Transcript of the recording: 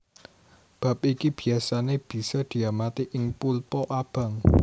Bab iki biasané bisa diamati ing pulpa abang